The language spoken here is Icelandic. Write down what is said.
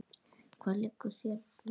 Hvað liggur þér svona á?